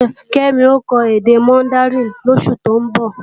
Kẹ́mi ó kọ́ èdè mọndaríìnì lósù tó ń bọ̀.